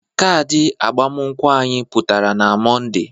Kadị agbamakwụkwọ anyị pụtara na Mọnde.